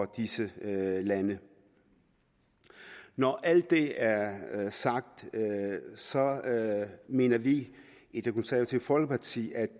disse lande når alt det er sagt mener vi i det konservative folkeparti at